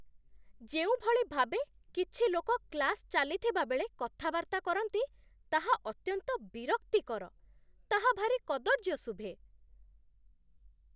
ଯେଉଁଭଳି ଭାବେ କିଛି ଲୋକ କ୍ଲାସ୍ ଚାଲିଥିବା ବେଳେ କଥାବାର୍ତ୍ତା କରନ୍ତି, ତାହା ଅତ୍ୟନ୍ତ ବିରକ୍ତିକର, ତାହା ଭାରି କଦର୍ଯ୍ୟ ଶୁଭେ।